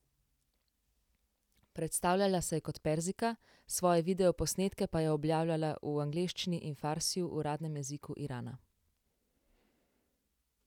Predstavljala se je kot Perzijka, svoje videoposnetke pa je objavljala v angleščini in farsiju, uradnem jeziku Irana.